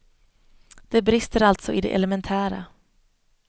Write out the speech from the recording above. Det brister alltså i det elementära.